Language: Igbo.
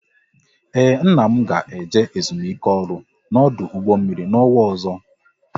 Ee, nna m ga eje ezumike ọrụ n'ọdụ mmiri n'ọnwa ọzọ